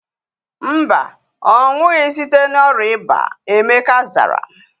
Mba, ọnwụghi site na ọrịa ịba. Emeka zara